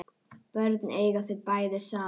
Börnin eiga þau bæði saman